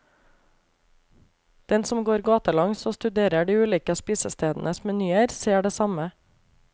Den som går gatelangs og studerer de ulike spisestedenes menyer, ser det samme.